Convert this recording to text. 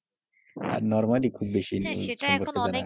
Normally খুব বেশি সম্পর্কে জানা যায় না,